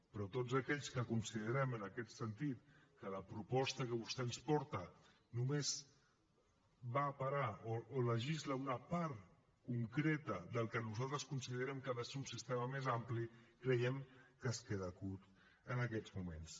però tots aquells que considerem en aquest sentit que la proposta que vostè ens porta només va a parar o legisla una part concreta del que nosaltres considerem que ha de ser un sistema més ampli creiem que es queda curta en aquests moments